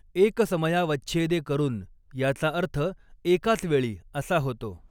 एकसमयावच्छेदेकरुन याचा अर्थ एकाचवेळी असा होता.